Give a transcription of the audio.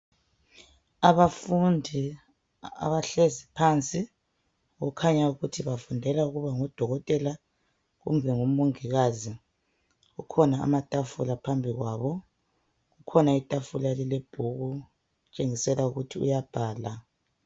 Abafundi abahlezi phansi kukhanya ukuthi bafundela ukuba ngodokotela kumbe ngomongikazi kukhona amatafula phambi kwabo kukhona itafula elilebhuku kutshengisela ukuthi uyabhala.